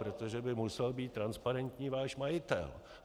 Protože by musel být transparentní váš majitel.